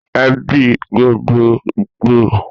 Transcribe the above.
Èbí gbógbógbó jè ipélé èbí tó tóbi